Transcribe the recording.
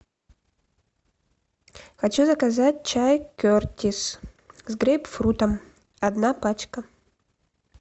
хочу заказать чай кертис с грейпфрутом одна пачка